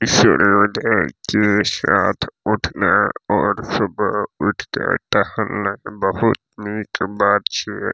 सूर्य उदय के साथ उठाना और सुबह उठ के टहलने बहुत निक बात छीये।